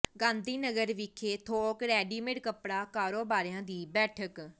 ਗਾਂਧੀ ਨਗਰ ਵਿਖੇ ਥੋਕ ਰੈਡੀਮੇਡ ਕੱਪੜਾ ਕਾਰੋਬਾਰੀਆਂ ਦੀ ਬੈਠਕ